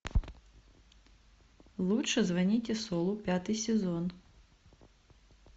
лучше звоните солу пятый сезон